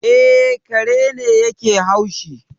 E, kare ne yake haushi